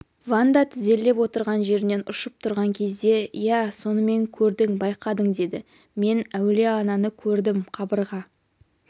ванда тізерлеп отырған жерінен ұшып тұрған кезде иә сонымен көрдің байқадың деді мен әулие-ананы көрдім қабырға